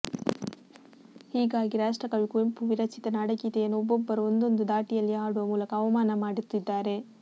ಹೀಗಾಗಿ ರಾಷ್ಟ್ರಕವಿ ಕುವೆಂಪು ವಿರಚಿತ ನಾಡಗೀತೆಯನ್ನು ಒಬ್ಬೊಬ್ಬರು ಒಂದೊಂದು ಧಾಟಿಯಲ್ಲಿ ಹಾಡುವ ಮೂಲಕ ಅವಮಾನ ಮಾಡುತ್ತಿದ್ದಾರೆ